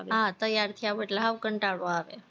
હા તૈયાર થયા હોય એટલે હાવ કંટાળો આવે,